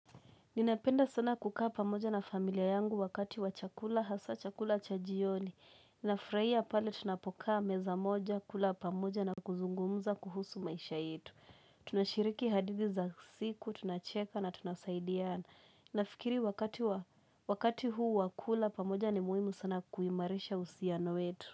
Ninapenda sana kukaa pamoja na familia yangu wakati wa chakula hasaa chakula cha jioni. Ninafurahia pale tunapokaa meza moja kula pamoja na kuzungumuza kuhusu maisha yetu. Tunashiriki hadithi za siku, tunacheka na tunasaidiana. Nafikiri wa wakati huu wakula pamoja ni muhimu sana kuimarisha uhusiano wetu.